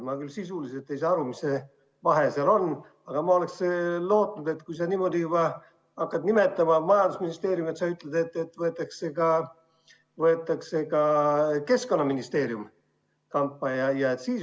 Ma küll sisuliselt ei saa aru, mis vahe seal on, aga ma lootsin, et kui sa juba nimetad majandusministeeriumi, siis sa ütled, et võetakse ka Keskkonnaministeerium kampa.